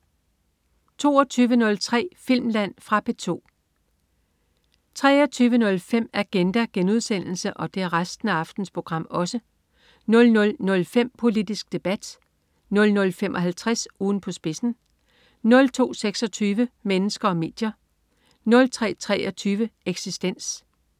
22.03 Filmland. Fra P2 23.05 Agenda* 00.05 Politisk Debat* 00.55 Ugen på spidsen* 02.26 Mennesker og medier* 03.23 Eksistens*